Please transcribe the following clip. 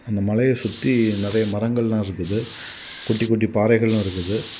அந்த மலய சுத்தி நெறய மரங்கள் எல்லா இருக்குது. குட்டி குட்டி பாறைகளு இருக்குது.